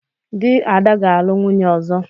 Di Ada ga-alu nwunye ozo.